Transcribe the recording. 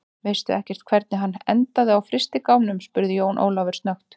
Veistu ekkert hvernig hann endaði á frystigámnum, spurði Jón Ólafur snöggt.